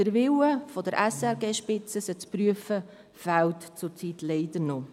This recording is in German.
Der Wille der SRG-Spitze, diese zu prüfen, fehlt zurzeit leider noch.